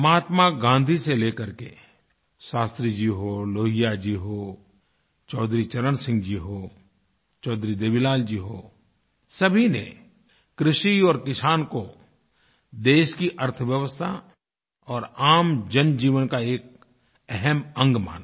महात्मा गाँधी से लेकर के शास्त्री जी हों लोहिया जी हों चौधरी चरण सिंह जी हों चौधरी देवीलाल जी हों सभी ने कृषि और किसान को देश की अर्थव्यवस्था और आम जनजीवन का एक अहम् अंग माना